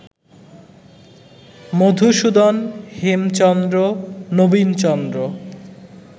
Madhusudan, Hemchandra, Nabinchandra